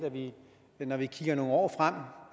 at når vi kigger nogle år frem